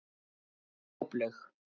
Droplaug